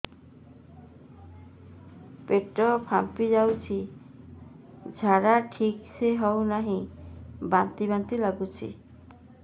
ପେଟ ଫାମ୍ପି ଯାଉଛି ଝାଡା ଠିକ ସେ ହଉନାହିଁ ବାନ୍ତି ବାନ୍ତି ଲଗୁଛି